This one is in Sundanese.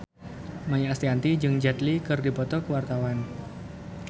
Maia Estianty jeung Jet Li keur dipoto ku wartawan